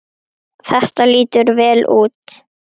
Þetta lítur vel út.